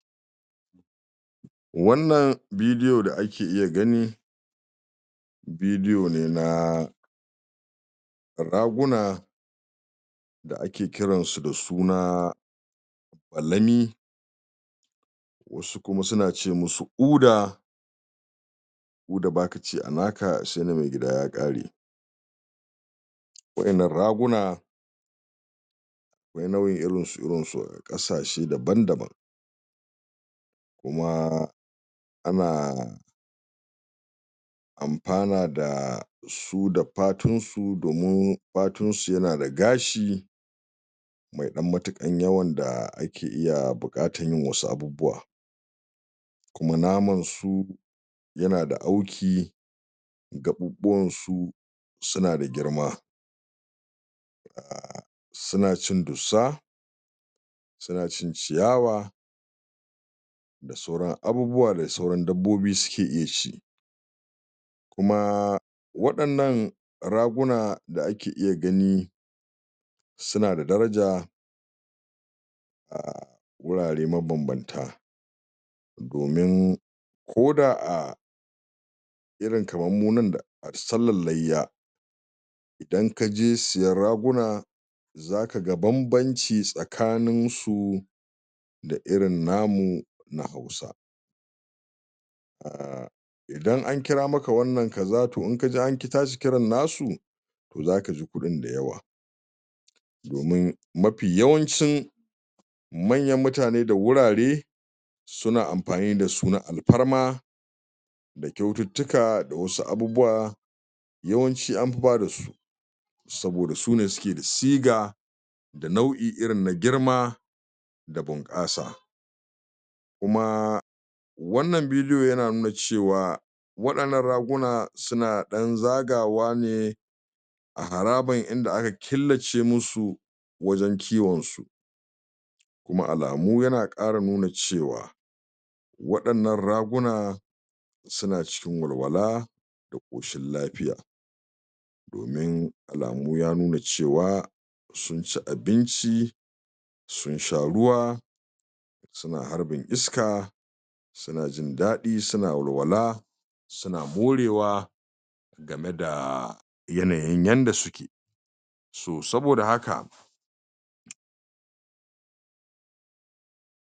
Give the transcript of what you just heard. Wannan bidiyo da ake iya gani bidiyo ne na raguna da ake kiran su da suna balami, wasu kum su na ce musu uda, uda baka ci a naka sai na mai gida ya ƙare. Waƴannan raguna akwai nau'in irinsu-irinsu ƙasashe daban-daban. Kuma ana amfana da su da fatunsu domin fatunsu ya na da gashi ma ɗan matuƙan yawan da ake iya buƙatan yin wasu abubuwa. Kuma naman su ya na da auki gaɓuɓuwan su su na da girma. Su na cin dussa, su na cin ciyawa, da sauran abubuwa da sauran dabbobi suke iya ci. Kuma waɗannan raguna da ake iya gani su na da daraja wurare mabam-banta. domin koda a irin kamar mu nan sallar layya idan kaje siyan raguna za ka ga bam-banci tsakanin su da irin namu na Hausa aah Idan an kira maka wannan kaza to in kaji an ki tashi kiran nasu to za kaji kuɗin da yawa. domin mafi yawancin manyan mutane da wurare su na amfani da su na alfarma da kyaututtuka da wasu abubuwa yawanci anfi ba da su, saboda sune suke da siga da nau'i irin na girma da bunƙasa. Kuma wannan bidiyo ya na nuna cewa waɗannan raguna su na ɗan zagawa ne a harabar inda aka killace musu wajen kiwon su. Kuma alamu ya na ƙara nuna cewa waɗannan raguna su na cikin walwala da ƙoshin lafiya. Domin alamu ya nuna cewa sun ci abinci, sun sha ruwa, su na harbin iska, su na jin daɗi, su na walwala, su na morewa, game da yanayin yanda suke so. Saboda haka